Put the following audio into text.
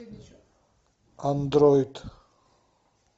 андроид